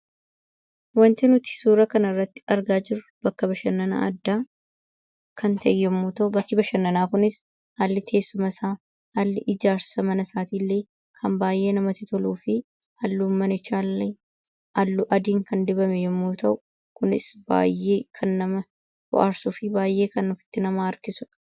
Wanti nuti suuraa kanarratti argaa jirru bakka bashanannaa addaa yommuu ta'u, bakki bashannanaa kunis haalli ijaarsa mana isaatiillee kan baay'ee namatti toluu fi halluun manichaallee halluu adiin kan dibame yommuu ta'u, kunis baay'ee kan nama bohaarsuu fi baay'ee kan ofitti nama harkisudha.